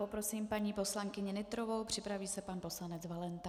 Poprosím paní poslankyni Nytrovou, připraví se pan poslanec Valenta.